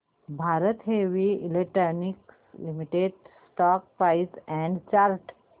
Bharat heavy electricals limited stock price and chart